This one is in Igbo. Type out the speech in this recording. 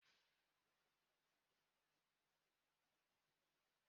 Enwere m ite isii dị iche iche